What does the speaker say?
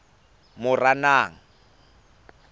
moranang